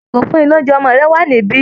Ìgò ìfúnni-lóunjẹ ọmọ rẹ wà níbí